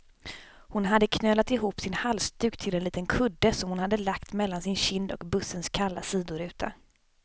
Hon hade knölat ihop sin halsduk till en liten kudde, som hon hade lagt mellan sin kind och bussens kalla sidoruta.